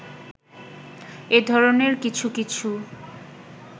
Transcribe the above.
এ ধরণের কিছু কিছু